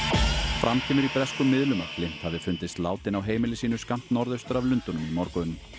fram kemur í breskum miðlum að Flint hafi fundist látinn á heimili sínu skammt norðaustur af Lundúnum í morgun